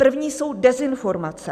První jsou dezinformace.